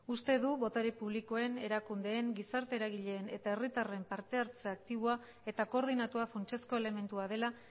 uste du botere publikoen erakundeen gizarte eragileen eta herritarren parte hartze aktiboa eta koordinatua funtsezko elementua dela